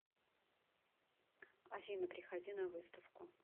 афина приходи на выставку